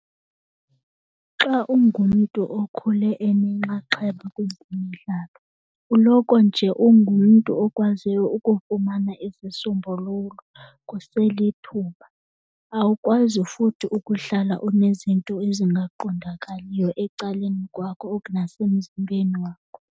Xa ungumntu okhule enenxaxheba kwezemidlalo uloko nje ungumntu okwaziyo ukufumana izisombululo kuselithuba. Awukwazi futhi ukuhlala unezinto ezingaqondakaliyo ecaleni kwakho nasemzimbeni wakho.